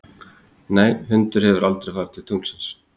Nei, hundur hefur aldrei farið til tunglsins.